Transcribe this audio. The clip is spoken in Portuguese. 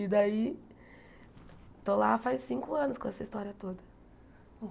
E daí estou lá faz cinco anos com essa história toda.